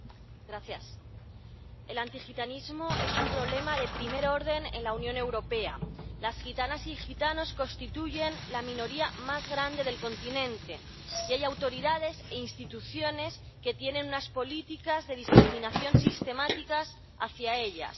Señora presidenta, el antigitanismo es un problema de primer orden en la Unión Europea. Las gitanas y los gitanos constituyen la minoría más grande del continente, y hay autoridades e instituciones que tienen unas políticas de discriminación sistemática hacia ella.